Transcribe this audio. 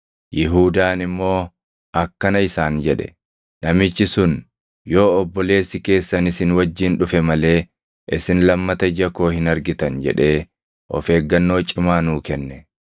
Yihuudaan immoo akkana isaan jedhe; “Namichi sun, ‘Yoo obboleessi keessan isin wajjin dhufe malee isin lammata ija koo hin argitan’ jedhee of eeggannoo cimaa nuu kenne.